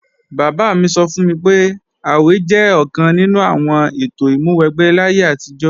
Bàbá mi sọ fún mi pé, àwè jẹ́ ọ̀kan nínú àwọn ètò ìmúwẹgbẹ́ láyé àtijọ́